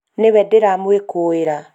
nĩwe ndĩramũĩkũĩra